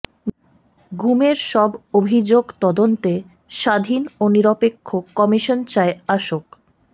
গুমের সব অভিযোগ তদন্তে স্বাধীন ও নিরপেক্ষ কমিশন চায় আসক